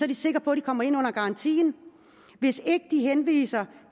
de sikker på de kommer ind under garantien hvis ikke de henviser